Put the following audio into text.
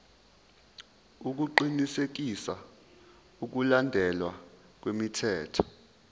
ukuqinisekisa ukulandelwa kwemithetho